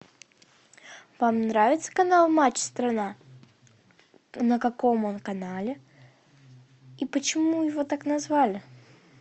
вам нравится канал матч страна на каком он канале и почему его так назвали